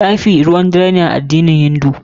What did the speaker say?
Tsafi abu ne ruwan dare a addinin hindu.